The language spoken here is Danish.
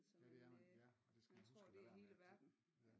Ja det er man ja og det skal man huske at lade være med altid ja